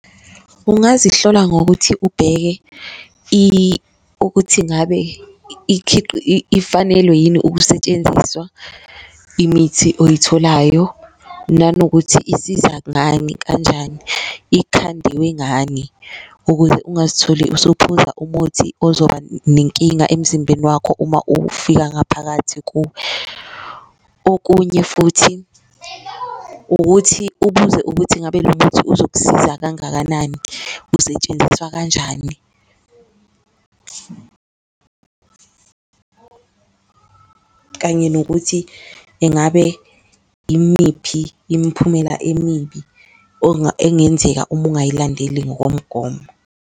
Ungazihlola ngokuthi ubheke ukuthi ingabe ifanelwe yini ukusetshenziswa imithi oyitholayo nanokuthi isiza ngani, kanjani, ikhandiwe ngani ukuze ungazitholi usuphuza umuthi ozoba nenkinga emzimbeni wakho uma uwufika ngaphakathi kuwe. Okunye futhi ukuthi ubuze ukuthi ingabe lo muthi uzokusiza kangakanani, usetshenziswa kanjani kanye nokuthi engabe imiphi imphumela emibi engenzeka uma ungayilandeli ngokomgomo.